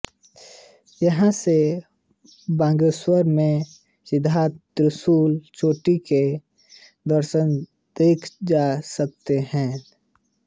यहां से बागेश्वर में स्थित त्रिशूल चोटी के दृश्य देखे जा सकते हैं